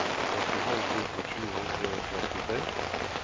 trettifem tusen sju hundre og trettitre